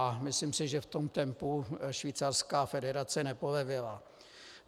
A myslím si, že v tom tempu švýcarská federace nepolevila.